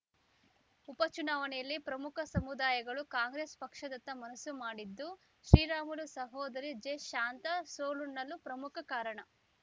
ಉಪ ಚುನಾವಣೆಯಲ್ಲಿ ಪ್ರಮುಖ ಸಮುದಾಯಗಳು ಕಾಂಗ್ರೆಸ್‌ ಪಕ್ಷದತ್ತ ಮನಸ್ಸು ಮಾಡಿದ್ದು ಶ್ರೀರಾಮುಲು ಸಹೋದರಿ ಜೆಶಾಂತಾ ಸೋಲುಣ್ಣಲು ಪ್ರಮುಖ ಕಾರಣ